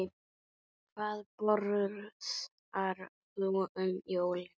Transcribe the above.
Hvað borðar þú um jólin?